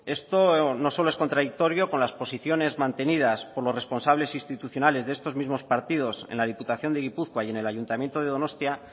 esto no solo es contradictorio con las posiciones mantenidas por los responsables institucionales de estos mismos partidos en la diputación de gipuzkoa y en el ayuntamiento de donostia